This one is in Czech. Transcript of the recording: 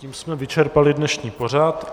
Tím jsme vyčerpali dnešní pořad.